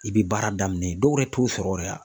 I bi baara daminɛ yen dɔw yɛrɛ t'u sɔrɔ yɛrɛ a.